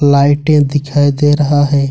लाइटें दिखाई दे रहा है।